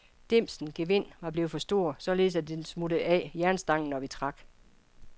Dimsens gevind var blevet for stort, således at det smuttede af jernstangen, når vi trak.